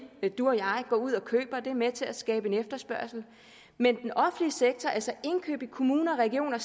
går ud og køber der er med til at skabe en efterspørgsel men den offentlige sektor altså indkøb i kommuner regioner